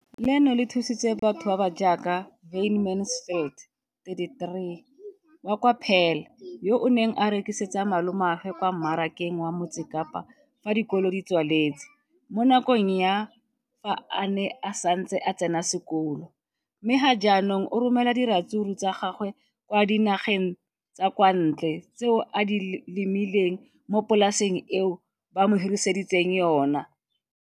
Leno le thusitse batho ba ba jaaka Wayne Mansfield, 33, wa kwa Paarl, yo a neng a rekisetsa malomagwe kwa Marakeng wa Motsekapa fa dikolo di tswaletse, mo nakong ya fa a ne a santse a tsena sekolo, mme ga jaanong o romela diratsuru tsa gagwe kwa dinageng tsa kwa ntle tseo a di lemileng mo polaseng eo ba mo hiriseditseng yona.